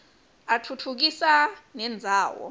atfutfukisa nendzawo